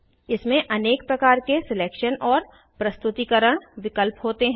इसमें अनेक प्रकार के सिलेक्शन और प्रस्तुतीकरण विकल्प होते हैं